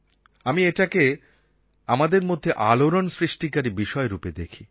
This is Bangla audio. আমি এটাকে আমাদের মধ্যে আলোড়ণ সৃষ্টিকারী বিষয়রূপে দেখি